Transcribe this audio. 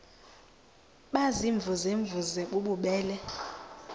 baziimvuze mvuze bububele